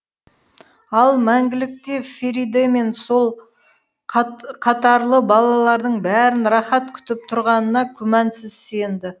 ал мәңгілікте фериде мен сол қатарлы балалардың бәрін рақат күтіп тұрғанына күмәнсіз сенді